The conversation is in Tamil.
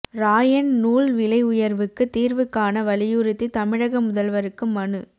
ராயன் நூல் விலை உயர்வுக்கு தீர்வு காண வலியுறுத்தி தமிழக முதல்வருக்கு மனு